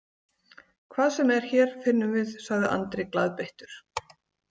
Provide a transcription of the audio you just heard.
Hvað sem er hér, finnum við, sagði Andri glaðbeittur.